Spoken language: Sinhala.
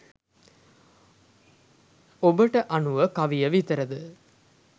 ඔබට අනුව කවිය විතරද